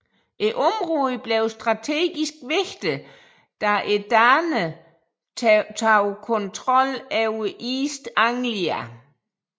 Området blev strategisk vigtigt da danerne tog kontrol over East Anglia